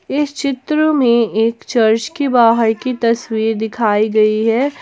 इस चित्र में एक चर्च के बाहर की तस्वीर दिखाई गई है।